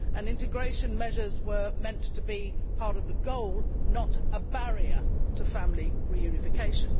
Integration measures were meant to be part of the goal, not a barrier to family reunification.